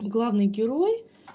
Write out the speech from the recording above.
главный герой